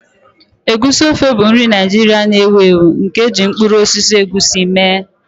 Egusi ofe bụ nri Naijiria na-ewu ewu nke e ji mkpụrụ osisi egusi mee.